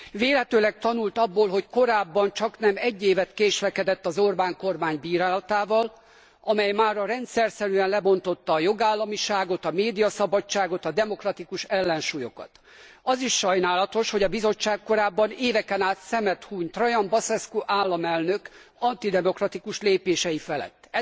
Vélhetőleg tanult abból, hogy korábban csaknem egy évet késlekedett az Orbán kormány bírálatával, amely mára rendszerszerűen lebontotta a jogállamiságot, a médiaszabadságot, a demokratikus ellensúlyokat. Az is sajnálatos, hogy a Bizottság korábban éveken át szemet hunyt Trajan Basescu államelnök antidemokratikus lépései felett.